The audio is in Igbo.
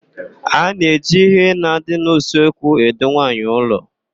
A na-eji íhé na-adị n'usekwu edu nwaanyị ụlọ.